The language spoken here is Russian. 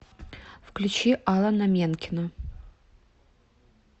включи алана менкена